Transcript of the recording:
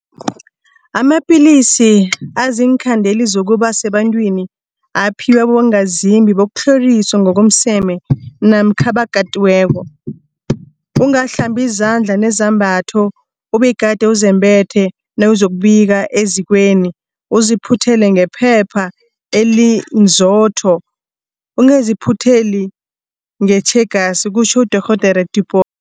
Amapilisi aziinkhandeli zokuba sebantwini aphiwa abongazimbi bokutlhoriswa ngokomseme namkha abakatiweko. Ungahlambi izandla nezambatho obegade uzembethe nawuzokubika ezikweni, uziphuthele ngephepha elinzotho, ungaziphutheli ngetjhegasi kutjho uDorhodere Tipoy.